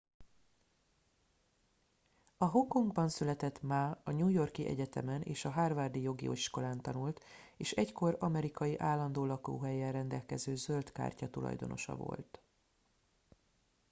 a hongkongban született ma a new york i egyetemen és a harvard i jogi iskolán tanult és egykor amerikai állandó lakóhellyel rendelkező zöld kártya tulajdonosa volt